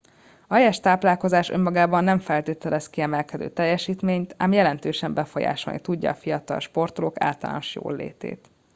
a helyes táplálkozás önmagában nem feltételez kiemelkedő teljesítményt ám jelentősen befolyásolni tudja a fiatal sportolók általános jóllétét